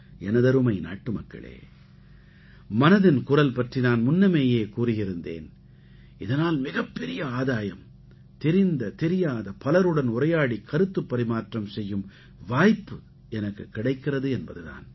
எனதருமை நாட்டுமக்களே மனதின் குரல் பற்றி நான் முன்னமேயே கூறியிருந்தேன் இதனால் மிகப்பெரிய ஆதாயம் தெரிந்த தெரியாத பலருடன் உரையாடிக் கருத்துப் பரிமாற்றம் செய்யும் வாய்ப்பு எனக்குக் கிடைக்கிறது என்பது தான்